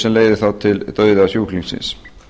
sem leiðir þá til dauða sjúklingsins